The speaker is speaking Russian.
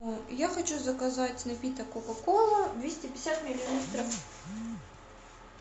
я хочу заказать напиток кока кола двести пятьдесят миллилитров